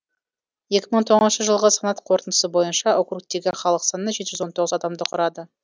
екі мың тоғызыншы жылғы санақ қорытындысы бойынша округтегі халық саны жеті жүз он тоғыз адамды құрады